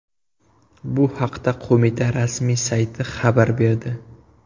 Bu haqda qo‘mita rasmiy sayti xabar berdi .